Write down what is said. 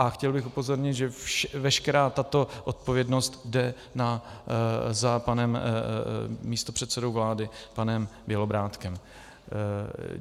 A chtěl bych upozornit, že veškerá tato odpovědnost jde za panem místopředsedou vlády, panem Bělobrádkem.